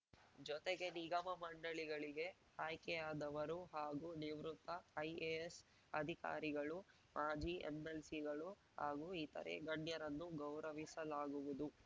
ಜೊತೆಗೆ ನಿಗಮ ಮಂಡಳಿಗಳಿಗೆ ಆಯ್ಕೆಯಾದವರು ಹಾಗೂ ನಿವೃತ್ತ ಐಎಎಸ್‌ ಅಧಿಕಾರಿಗಳು ಮಾಜಿ ಎಂ ಎಲ್‌ಸಿಗಳು ಹಾಗೂ ಇತರೇ ಗಣ್ಯರನ್ನು ಗೌರವಿಸಲಾಗುವುದು